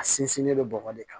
A sinsinnen don bɔgɔ de kan